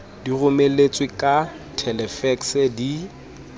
di romeletswe ka thelefekse di